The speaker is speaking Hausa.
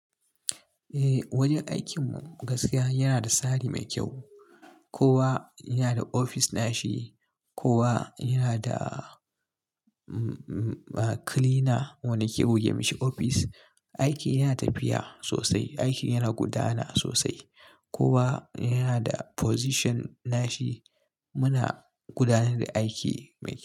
Eh wajen aikin mu gaskiya yana da tsari mai kyau. Kowa yana da ofis nashi, kowa yana da cleaner wanda ke guge mashi ofis. Aiki yana tafiya sosai, aiki yana gudana sosai. Kowa yana da position nashi muna gudanar da aiki mai kyau.